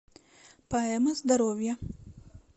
поэма здоровья